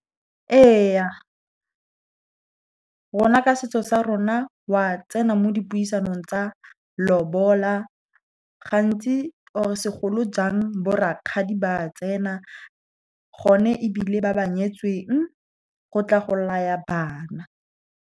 Ee, rona ka setso sa rona, wa tsena mo dipuisanong tsa lobola. Gantsi, or segolojang, bo rakgadi ba tsena, gone ebile ba ba nyetsweng, go tla go laya bana